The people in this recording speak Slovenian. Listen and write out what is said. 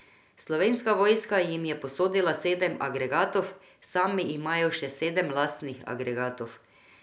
Slovenska vojska jim je posodila sedem agregatov, sami imajo še sedem lastnih agregatov.